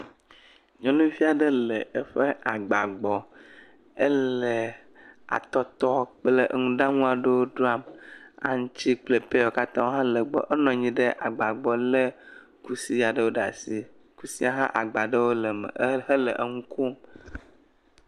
nyɔnuviaɖe le eƒe agba gbɔ éle atɔtɔ kple ŋuɖaŋuaɖewo dram aŋtsi kple pɛyawo katã hã le gbɔ enɔnyi ɖe agba gbɔ le kusi aɖewo ɖe asi kusia hã agbaɖewo leme he eŋukom